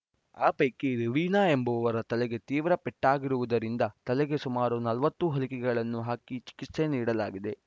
ಆ ಪೈಕಿ ರವೀನಾ ಎಂಬುವವರ ತಲೆಗೆ ತೀವ್ರ ಪೆಟ್ಟಾಗಿರುವುದರಿಂದ ತಲೆಗೆ ಸುಮಾರು ನಲವತ್ತು ಹೊಲಿಕೆಗಳನ್ನು ಹಾಕಿ ಚಿಕಿತ್ಸೆ ನೀಡಲಾಗಿದೆ